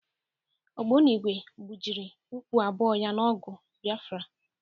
Ogbonigwe gbụjiri ụkwụ abụọ ya n'ọgụ Biafra.